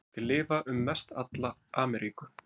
Þeir lifa um mestalla Ameríku.